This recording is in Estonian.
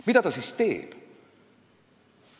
Mida ta siis teeb?